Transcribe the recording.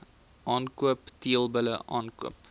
aankoop teelbulle aankoop